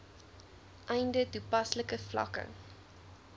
einde toepaslike vlakke